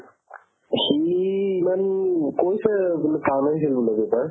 সি ইমান কৈছে বুলে ভাল হৈছিল বুলে paper